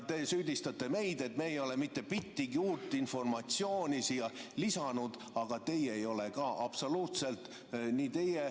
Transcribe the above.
Te süüdistate meid, et me ei ole mitte bittigi uut informatsiooni siia lisanud, aga teie ei ole ka absoluutselt, nii teie ...